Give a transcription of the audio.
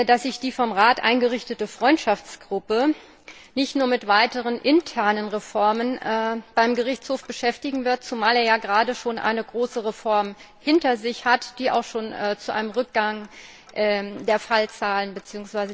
Ich hoffe, dass sich die vom Rat eingerichtete Freundschaftsgruppe nicht nur mit weiteren internen Reformen beim Gerichtshof beschäftigen wird, zumal er ja gerade schon eine große Reform hinter sich hat, die auch schon zu einem Rückgang der Fallzahlen bzw.